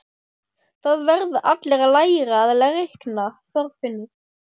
Það verða allir að læra að reikna, Þorfinnur